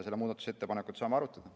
Seda muudatusettepanekut me saame arutada.